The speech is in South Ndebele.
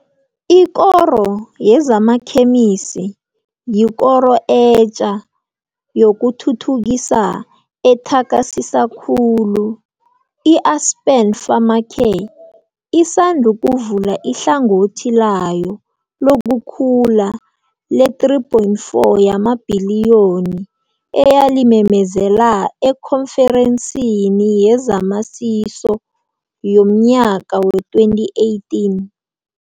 Ikoro Yezamakhemisi yikoro etja yokuthuthukisa ethakasisa khulu. I-Aspen Pharmacare isandukuvula ihlangothi layo lokukhula le-R3.4 yamabhiliyoni, eyalimemezela eKhonferensini yezamaSiso yomnyaka wee-2018.